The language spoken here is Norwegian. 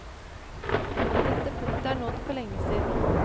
Dette punktet er nådd for lenge siden.